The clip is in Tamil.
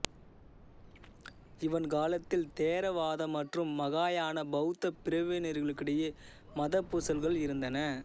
இவன் காலத்தில் தேரவாத மற்றும் மகாயான பௌத்த பிரிவினர்களிடையே மதப்பூசல்கள் இருந்தன